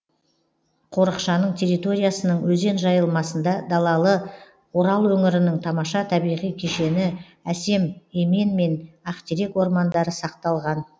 қорықшаның территориясының өзен жайылмасында далалы орал өңірінің тамаша табиғи кешені әсем емен мен ақтерек ормандары сақталған